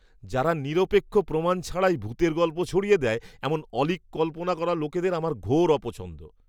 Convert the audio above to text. যারা নিরপেক্ষ প্রমাণ ছাড়াই ভূতের গল্প ছড়িয়ে দেয় এমন অলীক কল্পনা করা লোকেদের আমার ঘোর অপছন্দ।